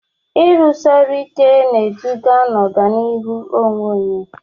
Ịrụsi ọrụ ike na-eduga n'ọganihu onwe onye.